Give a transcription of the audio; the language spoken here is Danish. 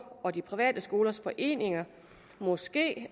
og de private skolers foreninger måske